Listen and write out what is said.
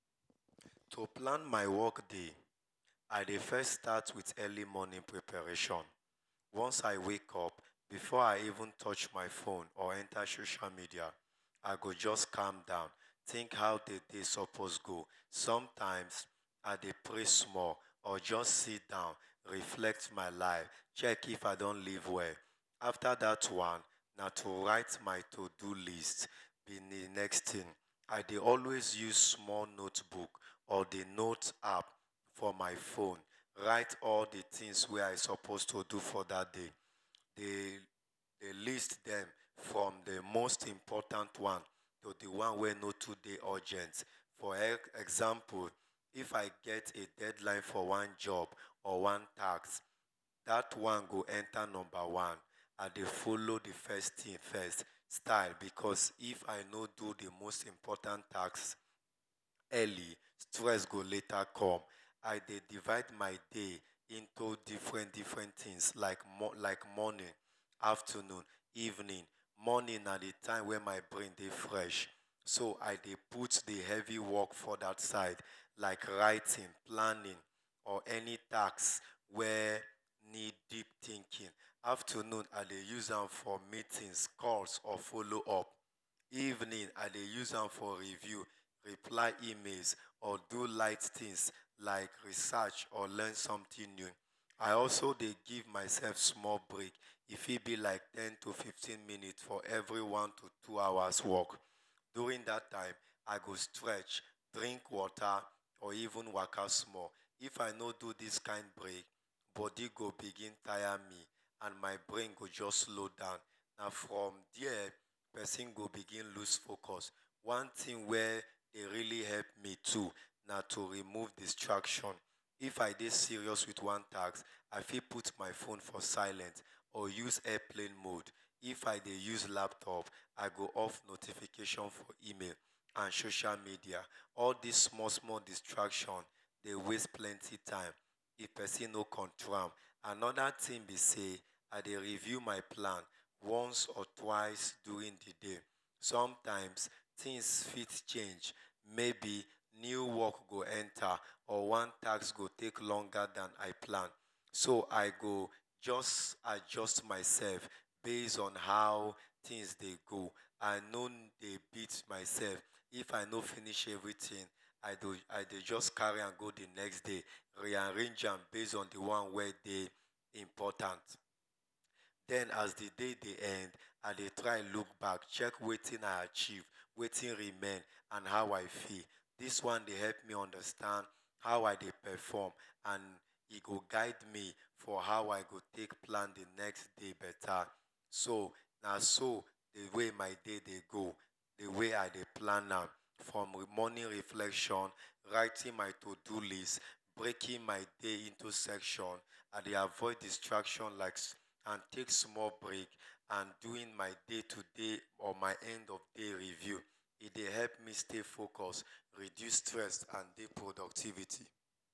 To plan my work day i dey always start with early morning preparation, once i wake up before even touch my phone or enta social media, i go jus calm down think how d day suppose go, sometimes i dey pray small or jus sidon reflect my life check if i don do well, afta dat one na to write my to do list, i dey always use small book or d note app for my phone, write all d things wey i suppose to do for dat day, dey list dem from d most important one to d one wey no too dey important, for example if i get deadline for one job or one task dat one go enta numba one, i dey follow d first thing first because if i no do d most important task first stress go later come, i dey divide my day into different different things like morning, afternoon, evening, morning na d time wey my brain dey fresh so i dey put d heavy work for dat side like writing planning or any task wey neeed deep thinking, afternoon i dey use am for meetings, calls or followup, evening i dey use am for review, reply email or do light things like research or learn something new, i also dey give myself small break e fit b like ten to fifteen minutes afta every one to two hours work, during dat time i go strech, drink water or even waka small, if i no do dis kind break, body go begin tire me my brain go jus slow down, na from there persin go begin loose focus, d thing wey dey also help me na to remove distraction too, if i dey serious with one task, i fit put my phone for silent or use airplane mode, if i dey use laptop i go off notification for email and social media all dis small small distraction dey waste plenty time, if persin no control am, anoda thing b sey i dey review my plan once or twice during d day, sometimes things fit change mayb new work go enta or one trtask go take longer dan i plan so i go jus adjust my self based on how things dey go, i no dey beat myself if i no finish everything i go jus carry am go d next day rearrange am based on d one wey dey important den as d day dey end i dey try look back check wetin i achieve, wetin remain and how i feel dis one dey help me see how i dey perform and e go guide me on how i go take plan d next day beta, so naso d way my day dey go, d way i dey plan am, from morning reflection, writing my to do list, breaking my day into section i dey avoid distraction and take small break and doing my day to day or end of day review, e dey help me stay focus, reduce stress and dey productivity.